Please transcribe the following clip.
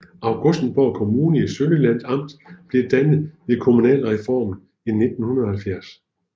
Augustenborg Kommune i Sønderjyllands Amt blev dannet ved kommunalreformen i 1970